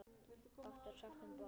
Fátt var sagt um borð.